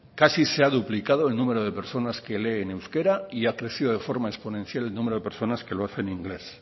casi se ha duplicado el número de personas que lee en euskera y ha crecido de forma exponencial el número de personas que lo hace en inglés